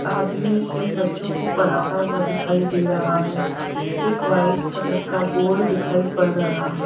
आदमी इन बच्चों को पढ़ाता हुआ दिखाई दे रहा है एक वाइट कलर का बोर्ड दिखाई पड़ रहा है।